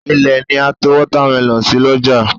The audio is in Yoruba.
Ilẹ̀ ni a to Wọ́támẹlọ̀n sí l'ọ́jà